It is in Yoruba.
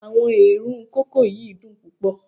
Awọn eerun koko yi dun pupọ